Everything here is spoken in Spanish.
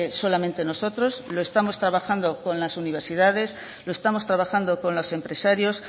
solamente nosotros lo estamos trabajando con las universidades lo estamos trabajando con los empresarios